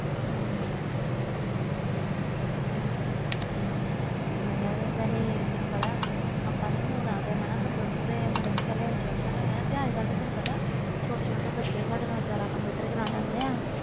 ਹੂੰ ਹੂੰ ਠੀਕ ਆ ਯਾਰ ਤੈਨੂੰ ਪਤਾ ਆਪਾ ਤੇ ਹੁਣ ਆ ਗਏ ਕੰਪਿਊਟਰ ਤੇ ਮਤਬਲ interested ਹੋਇਆ ਅਜ ਕਲ ਤੇ ਛੋਟੇ ਛੋਟੇ ਬਚੇ ਸਾਡੇ ਨਾਲ ਜਿਆਦਾ ਕੰਪਿਊਟਰ ਚਲਾ ਗਏ ਆ